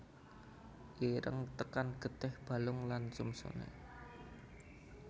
Ireng tekan getih balung lan sumsume